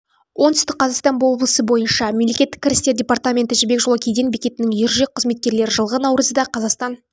оңтүстік қазақстан облысы бойынша мемлекеттік кірістер департаменті жібек жолы кеден бекетінің ержүрек қызметкерлері жылғы наурызда қазақстан